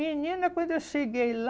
Menina, quando eu cheguei lá,